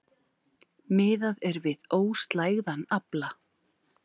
Miðað er við óslægðan afla